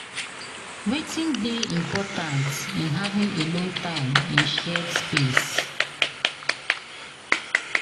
Wetin dey important in having alone time in shared space?